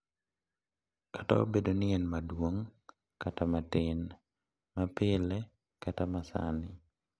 Kata obedo ni en maduong' kata matin, ma pile kata ma sani,